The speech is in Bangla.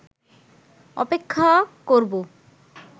অপেক্ষা করবো